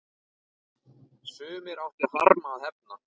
Sumir áttu harma að hefna.